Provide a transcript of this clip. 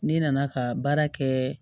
Ne nana ka baara kɛ